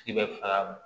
Tigi bɛ faga